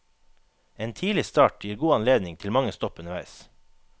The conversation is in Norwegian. En tidlig start gir god anledning til mange stopp underveis.